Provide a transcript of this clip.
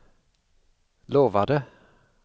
lovade